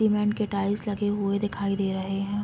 cement के tiles लगे हुए दिखाई दिए --